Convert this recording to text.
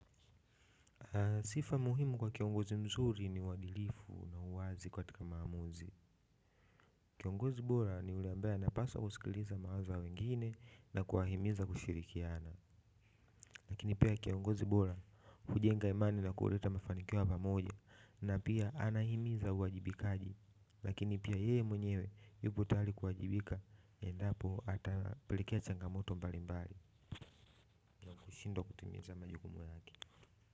Sifa muhimu kwa kiongozi mzuri ni uadilifu na uwazi katika maamuzi kiongozi bora ni ule ambaye anapaswa kusikiliza mawazo ya wengine na kuwahimiza kushirikiana lakini pia kiongozi bora hujenga imani na kuleta mafanikio ya pamoja na pia anahimiza uwajibikaji lakini pia yeye mwenyewe yupo tayari kuwajibika endapo atapilikia changamoto mbalimbali ameshindwa kutumiza majukumu lake.